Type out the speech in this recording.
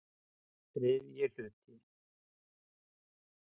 III hluti